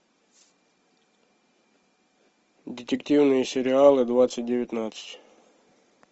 детективные сериалы двадцать девятнадцать